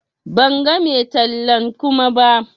Ban gan mai tallan Kuma ba.